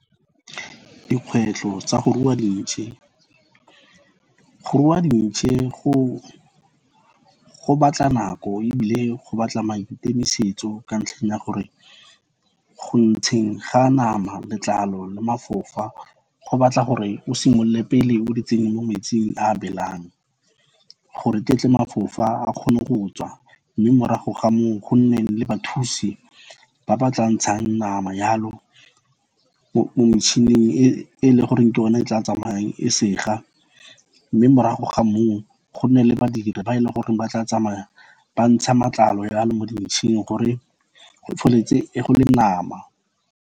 Dikgwetlho tsa go rua dintšhe, go rua dintšhe go batla nako ebile go batla maikemisetso ka ntlheng ya gore go ntsheng ga nama, letlalo le mafofa, go batla gore o simolole pele o di tsenye mo metsing a beelang gore ketle mafofa a kgone go tswa, mme morago ga mo o go nne le bathusi ba ba tla ntshang nama jalo mo metšhining e leng gore ke o ne e tla tsamayang e sega, mme morago ga mo o go nne le badiri ba e leng gore ba tla tsamaya ba ntsha matlalo ya lo mo dintšheng gore go feleletse go le nama.